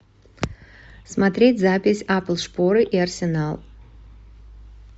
смотреть запись апл шпоры и арсенал